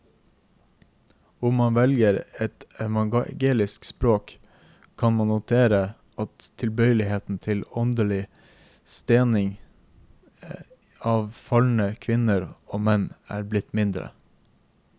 Om man velger et evangelisk språk, kan man notere at tilbøyeligheten til åndelig stening av falne kvinner og menn er blitt mindre.